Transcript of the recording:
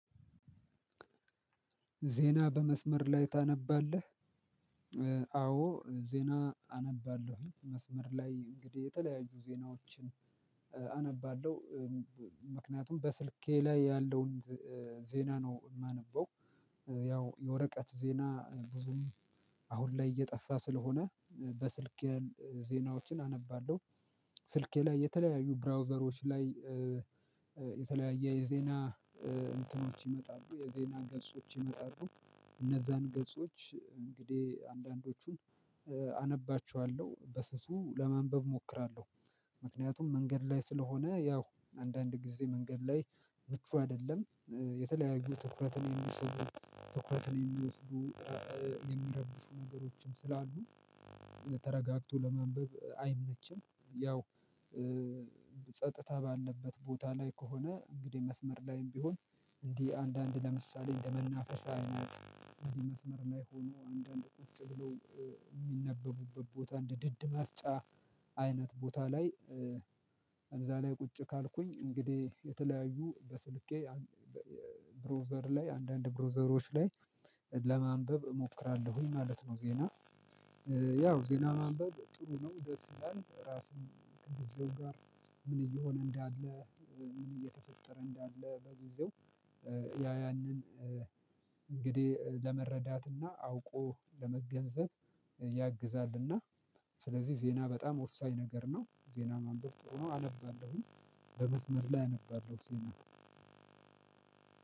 ዜና በመስመር ላይ ታነባለህ? አዎ ዜና አነባለሁኝ መስመር ላይ እንግዲህ የተለያዩ ዜናዎችን አነባለሁ። ምክንያቱም በስልኬ ላይ ያለውን ዜና ነው እማነበው። ያው የወረቀት ዜና ብዙም አሁን ላይ እየጠፋ ስለሆነ በስልኬ ያሉ ዜናዎችን አነባለሁ። ስልኬ ላይ የተለያዩ ብራውዘሮች ላይ የተለያየ የዜና እንትኖች ይመጣሉ የዜና ገጾች ይመጣሉ። እነዛን ገጾች እንግዲህ አንዳንዶቹን አነባቸዋለሁ በስሱ ለማንበብ እሞክራለሁ። ምክንያቱም መንገድ ላይ ስለሆነ ያው አንዳንድ ጊዜ መንገድ ላይ ምቹ አይደለም። የተለያዩ ትኩረትን እሚስቡ ትኩረትን እሚወስዱ እሚረብሹ ነገሮችም ስላሉ። ተረጋግቶ ለማንበብ አይመችም። ያው ጸጥታ ባለበት ቦታ ላይ ከሆነ እንግዲህ መስመር ላይም ቢሆን። እንዲህ አንዳንድ ለምሳሌ እንደመናፈሻ አይነት መስመር ላይ ሆኖ አንዳንድ ቁጭ ብሎ እሚነበቡበት ቦታ እንደ ድድ ማስጫ አይነት ቦታ ላይ። እዛ ላይ ቁጭ ካልኩኝ እንግዲህ የተለያዩ በስልኬ ብራውዘር ላይ አንዳንድ ብራውዘሮች ላይ ለማንበብ እሞክራለሁኝ ማለት ነው። ዜና ያው ዜና ማንበብ ጥሩ ነው። ደስ ይላልው ራስን ከጊዜው ጋር ምን እየሆነ እንዳለ ምን እየተፈጠረ እንዳለ በጊዜው ያ ያንን እንግዲህ ለመረዳትና አውቆ ለመገንዘብ ያግዛልና ስለዚህ ዜና በጣም ወሳኝ ነገር ነው። ዜና ማንበብ ጥሩ ነው አነባለሁኝ። በመዝመር ላይ አነባለሁ ዜና።